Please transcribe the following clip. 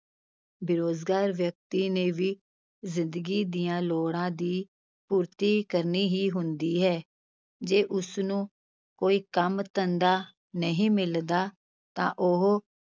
ਬੇਰੁਜ਼ਗਾਰ ਵਿਅਕਤੀ ਨੇ ਵੀ ਜ਼ਿੰਦਗੀ ਦੀਆਂ ਲੋੜਾਂ ਦੀ ਪੂਰਤੀ ਕਰਨੀ ਹੀ ਹੁੰਦੀ ਹੈ, ਜੇ ਉਸ ਨੂੰ ਕੋਈ ਕੰਮ-ਧੰਦਾ ਨਹੀਂ ਮਿਲਦਾ ਤਾਂ ਉਹ